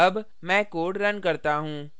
अब मैं code now करता हूँ